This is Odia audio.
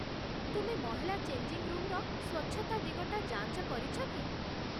ତୁମେ ମହିଳା ଚେଞ୍ଜିଙ୍ଗ୍ ରୁମ୍‌ରେ ସ୍ୱଚ୍ଛତା ଦିଗଟା ଯାଞ୍ଚ କରିଛ କି?